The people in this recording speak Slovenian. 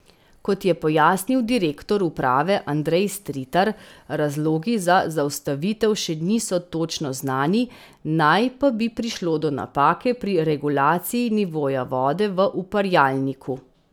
Kot je pojasnil direktor uprave Andrej Stritar, razlogi za zaustavitev še niso točno znani, naj pa bi prišlo do napake pri regulaciji nivoja vode v uparjalniku.